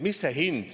Aitäh!